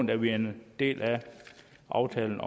da vi er en del af aftalen